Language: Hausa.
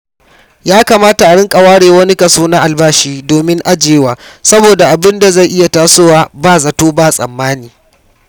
Ya kamata a rinƙa ware wani kaso na albashi domin ajiyewa saboda abin zai iya tasowa ba zato ba tsammani.